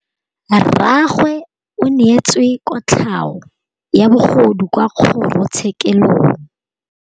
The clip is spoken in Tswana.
Rragwe o neetswe kotlhaô ya bogodu kwa kgoro tshêkêlông.